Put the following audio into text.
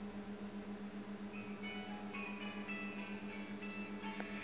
lsd radix sort